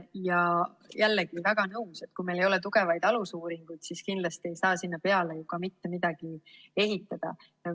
Jällegi, olen väga nõus, et kui meil ei ole tugevaid alusuuringuid, siis kindlasti ei saa sinna peale ju ka mitte midagi ehitada.